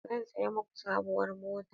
Zan saya maku sabuwar mota.